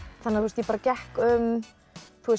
ég bara gekk um